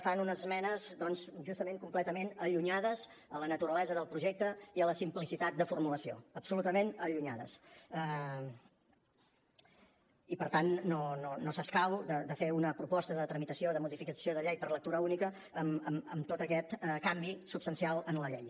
fan unes esmenes doncs justament completament allunyades de la naturalesa del projecte i de la simplicitat de formulació absolutament allunyades i per tant no escau de fer una proposta de tramitació de modificació de llei per lectura única amb tot aquest canvi substancial en la llei